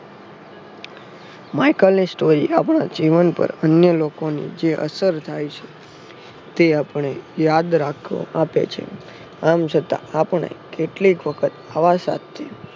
માઈકલની story આપણા જીવન પર અન્ય લોકોની જે અસર થાય છે. તે આપણે યાદ રાખવા આપે છે. આમ છતાં આપણે કેટલીક વખત હવા સાથે